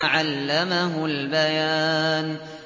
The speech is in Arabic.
عَلَّمَهُ الْبَيَانَ